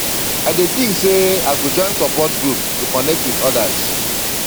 i dey think sey i go join support group to connect with others